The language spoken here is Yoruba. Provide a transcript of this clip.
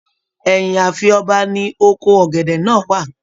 Ẹyin ààfin ọba ní oko ọgẹdẹ náà wà.